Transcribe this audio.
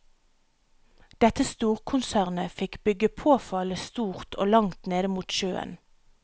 Dette storkonsernet fikk bygge påfallende stort og langt ned mot sjøen.